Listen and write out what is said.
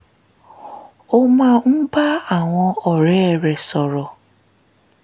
ó máa ń bá àwọn ọ̀rẹ́ rẹ̀ sọ̀rọ̀